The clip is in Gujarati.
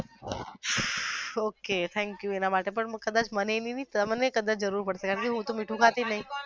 okay thank you એના માટે પણ કદાચ મને નઈ તમને કદાચ જરૂર પડશે મીઠું ખાતી નઈ